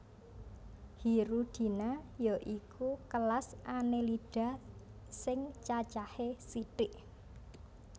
Hirudinea ya iku kelas Annelida sing cacahé sithik